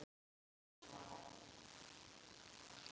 Gott og stöðugt golf!